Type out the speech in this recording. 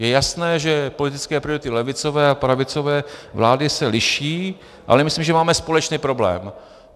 Je jasné, že politické priority levicové a pravicové vlády se liší, ale myslím, že máme společný problém.